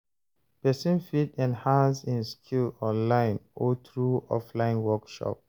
Persin fit enhance im skill online or through offline workshop